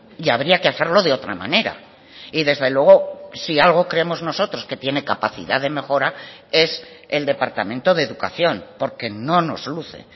y habría que hacerlo de otra manera y desde luego si algo creemos nosotros que tiene capacidad de mejora es el departamento de educación porque no nos luce